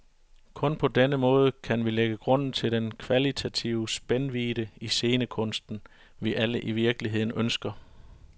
Kun på denne måde kan vi lægge grunden til den kvalitative spændvidde i scenekunsten, vi alle i virkeligheden ønsker.